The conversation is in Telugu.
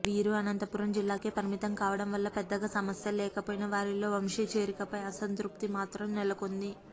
వీరు అనంతపురం జిల్లాకే పరిమితం కావడం వల్ల పెద్దగా సమస్యల లేకపోయినా వారిలో వంశీ చేరికపై అసంతృప్తి మాత్రం నెలకొంది